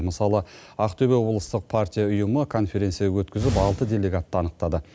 мысалы ақтөбе облыстық партия ұйымы конференция өткізіп алты делегатты анықтады